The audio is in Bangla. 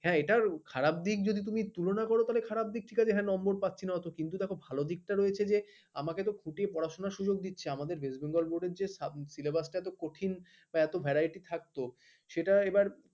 এটা খারাপ দিক দিয়ে তুমি তুলনা করো তো খারাপ দিক ঠিক আছে হ্যাঁ নম্বর পাচ্ছিনা তো কিন্তু দেখো ভালো দিকটা রয়েছে যে আমাকে তো খুঁটে পড়াশোনা সুযোগ দিচ্ছে আমাদের west bengal board syllabus টা এত কঠিন এত varity থাকবে তো সেটা এবার